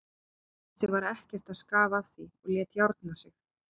Þessi var ekkert að skafa af því og lét járna sig.